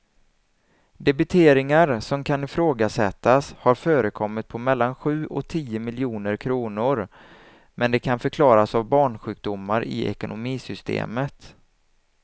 Debiteringar som kan ifrågasättas har förekommit på mellan sju och tio miljoner kronor, men de kan förklaras av barnsjukdomar i ekonomisystemet.